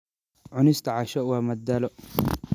Cunista casho waa madadaalo.